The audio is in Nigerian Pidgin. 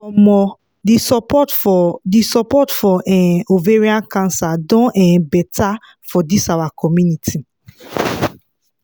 omo the support for the support for um ovarian cancer don um better for this our community